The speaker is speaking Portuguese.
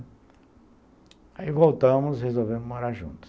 Aí voltamos, resolvemos morar juntos.